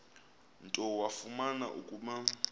nto wafumana ukuba